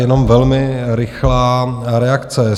Jenom velmi rychlá reakce.